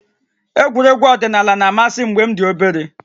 Egwuregwu ọdịnala na-amasị m mgbe m dị obere